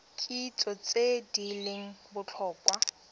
kitso tse di leng botlhokwa